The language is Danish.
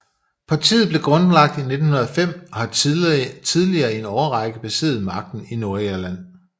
Partiet blev grundlagt i 1905 og har tidligere i en årrække besiddet magten i Nordirland